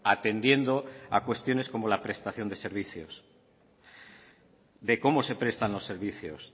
atendiendo a cuestiones como la prestación de servicios de cómo se prestan los servicios